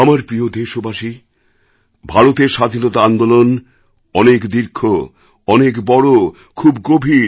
আমার প্রিয় দেশবাসী ভারতের স্বাধীনতা আন্দোলন অনেক দীর্ঘ অনেক বড় খুব গভীর